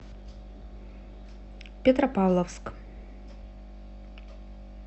петропавловск